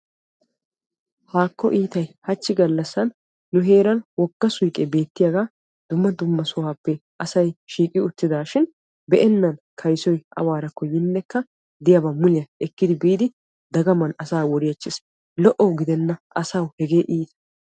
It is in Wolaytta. Haako iittay hachchi galassan nu heeran wogga suyqqe beettiyaaga dumma dumma sohuwappe asay shiiqi uttiddashin be'nna kayssoy yiiddi efiiddi daganttiss, lo'o gidenna asawu hagee iitta.